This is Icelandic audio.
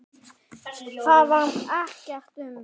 Það varðar mig ekkert um.